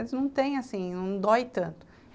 Eles não tem assim, não dói tanto.